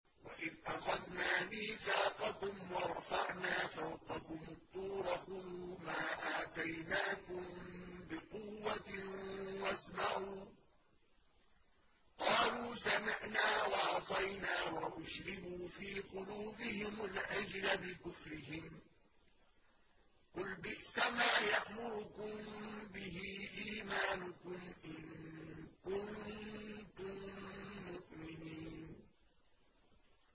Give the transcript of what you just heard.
وَإِذْ أَخَذْنَا مِيثَاقَكُمْ وَرَفَعْنَا فَوْقَكُمُ الطُّورَ خُذُوا مَا آتَيْنَاكُم بِقُوَّةٍ وَاسْمَعُوا ۖ قَالُوا سَمِعْنَا وَعَصَيْنَا وَأُشْرِبُوا فِي قُلُوبِهِمُ الْعِجْلَ بِكُفْرِهِمْ ۚ قُلْ بِئْسَمَا يَأْمُرُكُم بِهِ إِيمَانُكُمْ إِن كُنتُم مُّؤْمِنِينَ